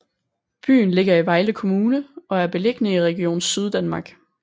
Byen ligger i Vejle Kommune og er beliggende i Region Syddanmark